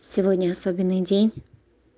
сегодня особенный день